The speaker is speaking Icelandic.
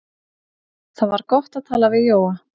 Það var gott að tala við Jóa.